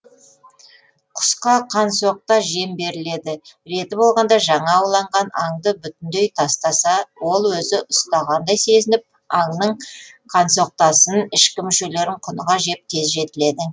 құсқа қансоқта жем беріледі реті болғанда жаңа ауланған аңды бүтіндей тастаса ол өзі ұстағандай сезініп аңның қансоқтасын ішкі мүшелерін құныға жеп тез жетіледі